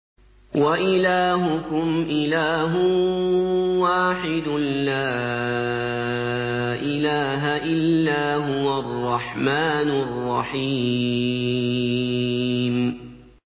وَإِلَٰهُكُمْ إِلَٰهٌ وَاحِدٌ ۖ لَّا إِلَٰهَ إِلَّا هُوَ الرَّحْمَٰنُ الرَّحِيمُ